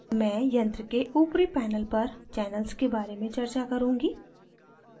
मैं यंत्र के ऊपरी panel पर channels के बारे में चर्चा करुँगी